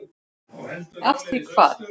Af því hvað?